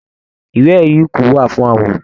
Ìwé erí ikú wá fún àwọn òkú.